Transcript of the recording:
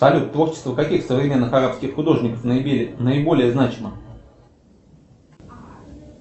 салют творчество каких современных арабских художников наиболее значимо